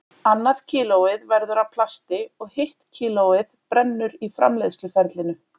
Annað kílóið verður að plasti og hitt kílóið brennur í framleiðsluferlinu.